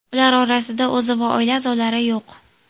Ular orasida o‘zi va oila a’zolari yo‘q.